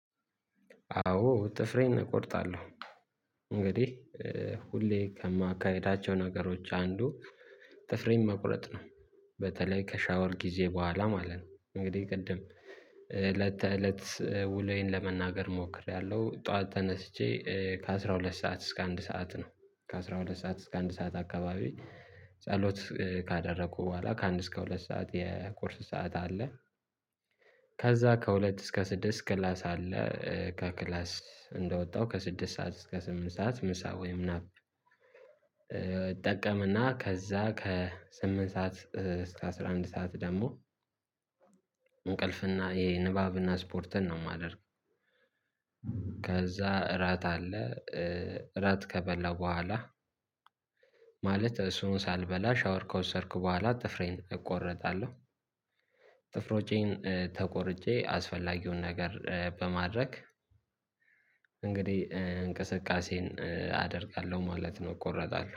አዎ ጥፍሬን እቆርጣለሁ። እንግዲህ ሁሌ ከማካሄዳቸው ነገሮች አንዱ ጥፍሬን መቁረጥ ነው በተለይ ከሻወር ጊዜ በኋላ ማለት ነው። እንግዲህ ቅድም ለተለት ውሎዬን ለመናገር ሞክሬያለሁ ጠዋት ተነስቼ ከአሥራ ሁለት ሰዓት እስከ አንድ ሰዓት ነው። ከአሥራ ሁለት ሰዓት እስከ አንድ ሰዓት አካባቢ ጸሎት ካደረኩ በኋላ ከአንድ እስከ ሁለት ሰዓት የቁርስ ሰዓት አለ። ከዛ ከሁለት እስከ ስድስት ክላስ አለ ከክላስ እንደወጣው ከስድስት ሰዓት እስከ ስምንት ሰዓት ምሳ ወይም ናፕ። ጠቀመና ከዛ ከስምንት ሰዓት እስከ አስራ አንድ ሰዓት ደግሞ እንቅልፍና የንባብና ስፖርትን ነው የማደርግ። ከዛ እራት አለ። እራት ከበላው በኋላ ማለት እሱን ሳልበላ ሻወር ከወሰድኩ በኋላ ጥፍሬን እቆረጣለው። ጥፍሮቼን ተቆርጬ አስፈላጊውን ነገር በማድረግ እንግዲህ እንቅስቃሴን አደርጋለው ማለት ነው። እቆረጣለው